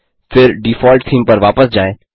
फिर default theme पर वापस जाएँ